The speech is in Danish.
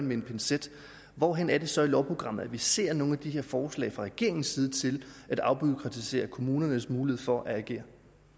med en pincet hvor er det så i lovprogrammet at vi ser nogle af de her forslag fra regeringens side til at afbureaukratisere kommunernes mulighed for at agere